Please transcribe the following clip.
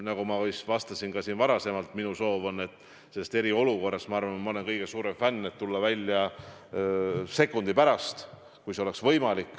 Nagu ma vist vastasin ka siin varem: ma arvan, et ma olen selle kõige suurem fänn, et tulla sealt välja sekundi pärast, kui see oleks võimalik.